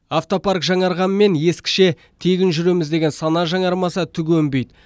автопарк жаңарғанмен ескіше тегін жүреміз деген сана жаңармаса түк өнбейді